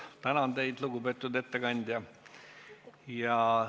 Tänan teid, lugupeetud ettekandja!